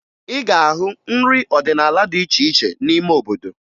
Ị ga-ahụ nrị ọdịnaala dị iche iche n'ime obodo